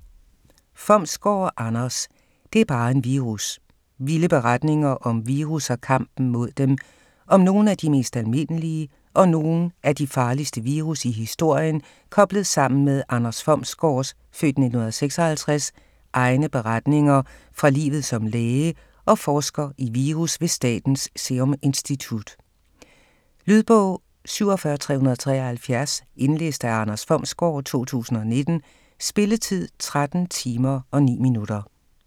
Fomsgaard, Anders: Det er bare en virus: vilde beretninger om virus og kampen mod dem Om nogle af de mest almindelige og nogle af de farligste virus i historien koblet sammen med Anders Fomsgårds (f. 1956) egne beretninger fra livet som læge og forsker i virus ved Statens Serum Institut. Lydbog 47373 Indlæst af Anders Fomsgaard, 2019. Spilletid: 13 timer, 9 minutter.